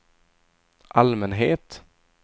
allmänhet